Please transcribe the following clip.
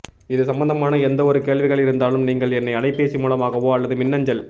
இது சம்பந்தமான எந்த ஒரு கேள்விகள் இருந்தாலும் நீங்கள் என்னை அலைபேசி மூலமாகவோ அல்லது மின் அஞ்சல்